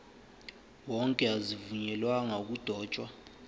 wonke azivunyelwanga ukudotshwa